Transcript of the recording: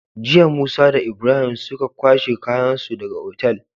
Jiya musa da Ibrahim suka kwashe kayan su daka Otal